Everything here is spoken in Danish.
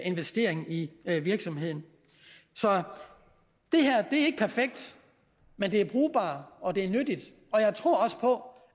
investering i virksomheden så det her er ikke perfekt men det er brugbart og det er nyttigt og jeg tror på